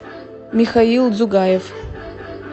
михаил дзугаев